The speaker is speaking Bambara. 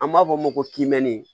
An b'a fɔ o ma ko kimɛni